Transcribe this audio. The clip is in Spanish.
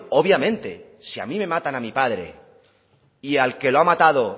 obviamente si a mí me matan a mi padre y al que lo ha matado